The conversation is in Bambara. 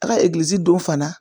A ka egilizi don fana